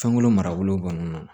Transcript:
Fɛnko marabolo kɔnɔna na